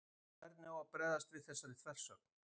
hvernig á að bregðast við þessari þversögn